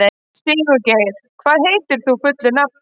Sigurgeir, hvað heitir þú fullu nafni?